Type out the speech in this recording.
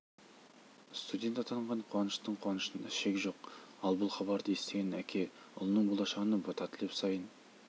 студент атанған қуаныштың қуанышында шек жоқ ал бұл хабарды естіген әке ұлының болашағына бата тілеп сайын